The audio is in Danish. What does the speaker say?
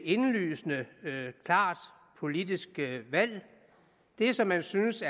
indlysende klart politisk valg det som man synes